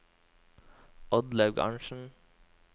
Oddlaug Arntsen